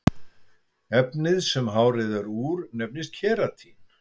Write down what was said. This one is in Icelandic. efnið sem hárið er úr nefnist keratín